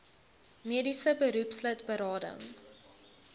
mediese beroepslid berading